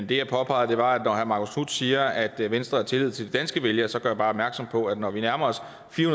det jeg påpegede var at når herre marcus knuth siger at venstre har tillid til de danske vælgere så bare gøre opmærksom på at når vi nærmer os